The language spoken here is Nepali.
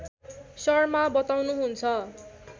शर्मा बताउनुहुन्छ